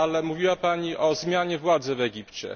Mówiła Pani o zmianie władzy w Egipcie.